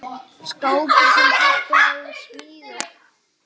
Skápur, sem pabbi hafði smíðað.